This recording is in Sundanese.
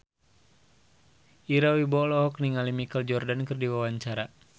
Ira Wibowo olohok ningali Michael Jordan keur diwawancara